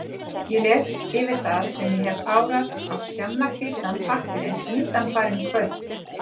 Ég les yfir það, sem ég hef párað á skjannahvítan pappírinn undanfarin kvöld.